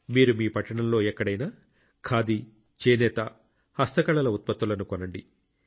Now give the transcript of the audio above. మీరు మీ పట్టణంలో ఎక్కడైనా ఖాదీ చేనేత హస్తకళల ఉత్పత్తులను కొనండి